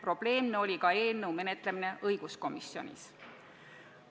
Probleemne oli ka eelnõu menetlemine õiguskomisjonis.